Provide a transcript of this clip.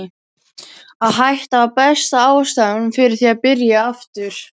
Að hætta var besta ástæðan fyrir því að byrja aftur.